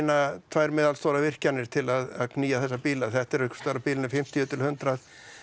tvær meðalstórar virkjanir til að knýja þessa bíla þetta er einhversstaðar á bilinu fimmtíu til hundrað